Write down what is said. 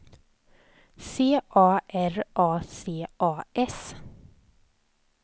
C A R A C A S